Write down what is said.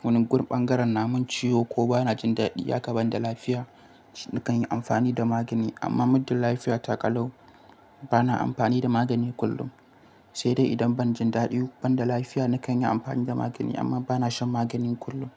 wani gun bangaren namun ciwo ko bana jin daɗi. Ya ka banda lafiya nikan yi amfani da magani amma muddin lafiya ta kalau bana amfani da magani kullum. Sai dai idan ban jin daɗi banda lafiya nakan yi amfani da magani amma bana shan magani kullum.